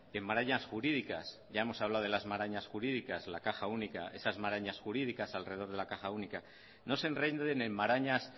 en marañas jurídicas ya hemos hablado de las marañas jurídicas la caja única esas marañas únicas al rededor la caja única no se enreden en marañas